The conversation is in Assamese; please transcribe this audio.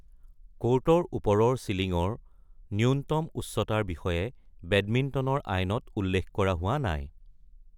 ক'ৰ্টৰ ওপৰৰ চিলিঙৰ নূন্যতম উচ্চতাৰ বিষয়ে বেডমিণ্টনৰ আইনত উল্লেখ কৰা হোৱা নাই।